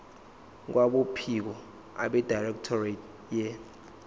kwabophiko abedirectorate ye